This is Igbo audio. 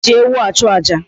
E ji ewu achu aja.